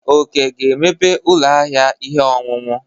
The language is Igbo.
Oke ga-emeghe ụlọ ahịa ihe ọṅụṅụ.